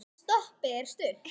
En stoppið er stutt.